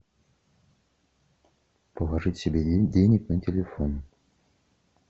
положить себе денег на телефон